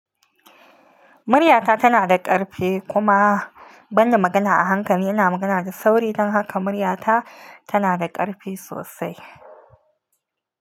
Muryata tana da ƙarfi kuma ban na magana a hankali, ina magana da sauri don haka muryata tana da ƙarfi sosai.